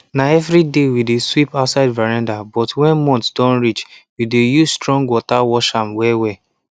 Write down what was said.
na evriday we dey sweep outside veranda but when month don reach we dey use strong water wash am wellwell